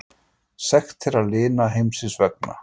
Sekt þeirra linast heimsins vegna.